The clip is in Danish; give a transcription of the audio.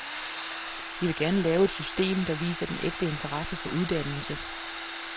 Vi vil gerne lave et system, der viser den ægte interesse for uddannelse.